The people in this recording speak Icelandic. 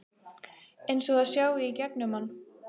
Eins og það sjái í gegnum mann.